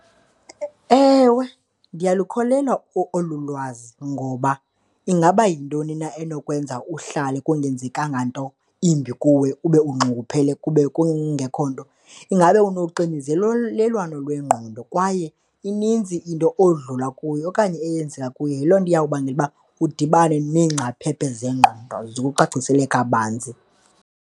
Ewe, ndiyalukholelwa olu lwazi ngoba ingaba yintoni na enokwenza uhlale kungenzekanga nto imbi kuwe, ube unxunguphele kube kungekho nto. Ingabe unoxinzelelwano lwengqondo kwaye ininzi into odlula kuyo okanye eyenzeka kuwe. Yiloo nto eyawubangela uba udibane neengcaphephe zengqondo zikucacisele kabanzi.